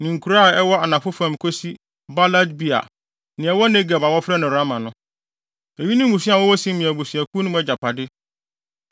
ne nkuraa a ɛwɔ anafo fam kosi Baalat-Beer, nea ɛwɔ Negeb a wɔfrɛ no Rama no. Eyi ne mmusua a wɔwɔ Simeon abusuakuw mu no agyapade.